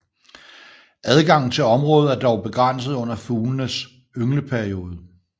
Adgangen til området er dog begrænset under fuglenes yngleperiode